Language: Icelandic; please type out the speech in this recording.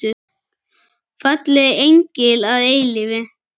Fallegi engill að eilífu.